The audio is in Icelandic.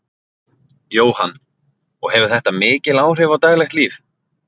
Jóhann: Og hefur þetta mikil áhrif á daglegt líf?